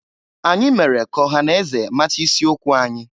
Anyị mere ka ọha na eze mata isi okwu anyị.